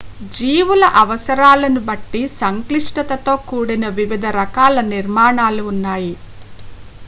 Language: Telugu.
జీవుల అవసరాలను బట్టి సంక్లిష్టతతో కూడిన వివిధ రకాల నిర్మాణాలు న్నాయి